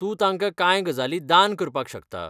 तूं तांकां कांय गजाली दान करपाक शकता.